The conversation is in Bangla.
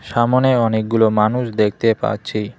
সামোনে অনেকগুলো মানুষ দেখতে পাচ্ছি।